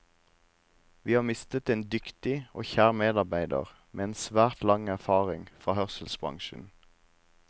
Vi har mistet en dyktig og kjær medarbeider med svært lang erfaring fra hørselbransjen.